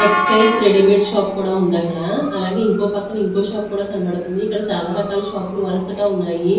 Textiles readymade shop కూడా ఉంది అక్కడ అలాగే ఇంకో పక్కన ఇంకో షాప్ కూడా కనబడుతుంది ఇక్కడ చాలా రకాల షాపు లు వరసగా ఉన్నాయి.